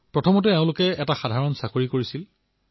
প্ৰথমে সাধাৰণ চাকৰি এটা কৰিছিল